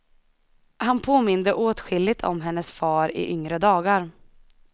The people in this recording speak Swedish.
Han påminde åtskilligt om hennes far i yngre dagar.